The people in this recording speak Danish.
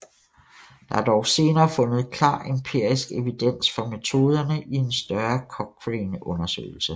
Der er dog senere fundet klar empirisk evidens for metoderne i en større Cochrane undersøgelse